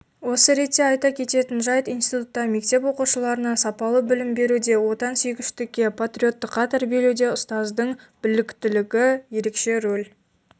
осы ретте айта кететін жайт институтта мектеп оқушыларына сапалы білім беруде отансүйгіштікке патриоттыққа тәрбиелеуде ұстаздың біліктілігі ерекше рөл